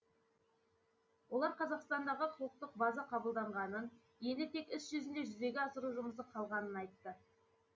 олар қазақстандағы құқықтық база қабылданғанын енді тек іс жүзінде жүзеге асыру жұмысы қалғанын айтты